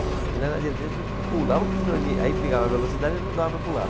E lá na Tiradentes a gente pulava porque senão ele aí pegava a velocidade e não dava para pular.